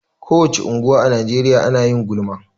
Ko wace unguwa a Najeriya na yin gulma.